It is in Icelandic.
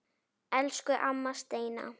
Elsku amma Steina.